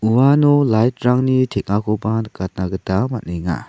uano light-rangni teng·akoba nikatna gita man·enga.